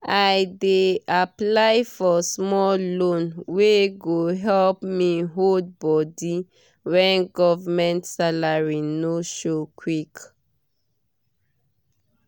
i dey apply for small loan wey go help me hold body when government salary no show quick.